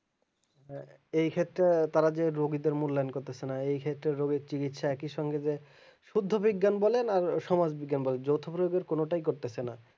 এই ক্ষেত্রে তারা যে রুগীদের মূল্যায়ন করতেছে না এই ক্ষেত্রে রুগীর চিকিৎসা একই সঙ্গে যে শুধু বিজ্ঞান বলে না সমাজ বিজ্ঞান বলে যৌথভাবে কোনোটাই করতেছে না